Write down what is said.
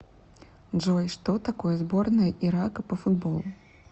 джой что такое сборная ирака по футболу